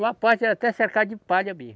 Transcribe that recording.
Uma parte era até cercada de palha mesmo.